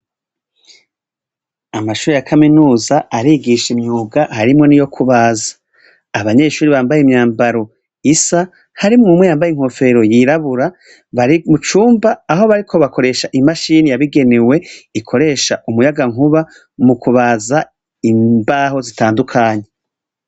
Amashure ya kaminuza arigisha imyuga harimwo niyukubaza. Abanyeshure bambaye imyambaro isa, harimwumwe yambaye inkofero yirabura, barimucumba Aho bariko bakoresha imashine yabigenewe ikoresha umuyagankuba mukubaza imbaho zitandukanye.